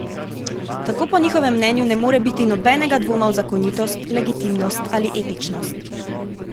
Tako po njihovem mnenju ne more biti nobenega dvoma v zakonitost, legitimnost ali etičnost.